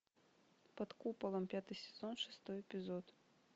под куполом пятый сезон шестой эпизод